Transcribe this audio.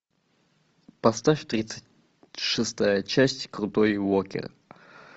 поставь тридцать шестая часть крутой уокер